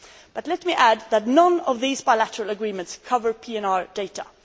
But let me add that none of these bilateral agreements cover PNR data.